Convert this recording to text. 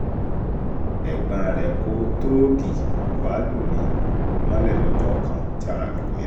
ẹ̀gbọ́n rẹ̀ kò tóógì wá lù mí mọ́lẹ̀ lọ́jọ́ kan tí ara mi kò yá